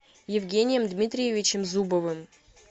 евгением дмитриевичем зубовым